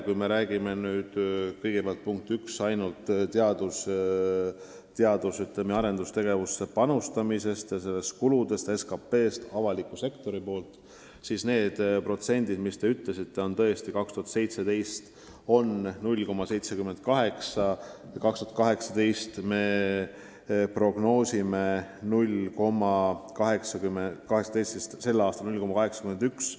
Kui me räägime kõigepealt, punkt üks, ainult avaliku sektori kuludest seoses panusega teadus- ja arendustegevusse, siis need protsendid on, nagu te ütlesite, tõesti 2017. aastal 0,78% SKT-st ja 2018. aastaks me prognoosime 0,81%.